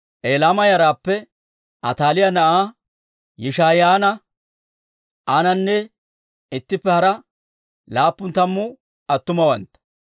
Elaama yaraappe Ataaliyaa na'aa Yishaa'iyaanne aanana ittippe hara laappun tammu attumawantta,